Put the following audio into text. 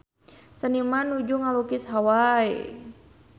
Seniman nuju ngalukis Hawai